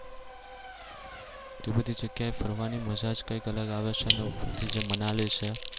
તે બધી જગ્યાએ ફરવાની મજા જ કઈક અલગ આવે છે અને ઉપરથી જે મનાલી છે